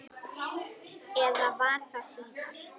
Eða var það síðar?